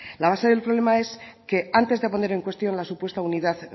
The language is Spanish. la base del problema es que antes de poner en cuestión la supuesta unidad